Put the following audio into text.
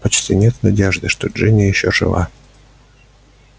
почти нет надежды что джинни ещё жива